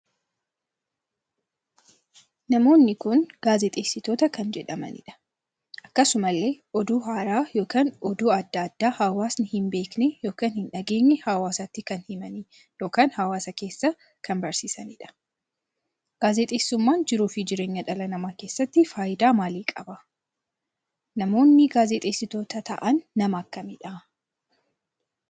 Namoonni kun gaazexeessitoota kan jedhamaniidha. akkasumallee oduu har'aa ykn oduu addaa addaa hawaasni hin beekne ykn hin dhageenye hawaasatti kan himanii ykn hawaasa keessa barsiisaniidha. gaazexessuummaan jiruuf jireenya dhala namaa keessatti faayidaa maalii qaba? Namoonni gaazexeessittoota taa'aan nama akkamiidha?